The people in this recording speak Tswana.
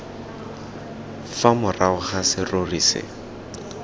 fa morago ga serori se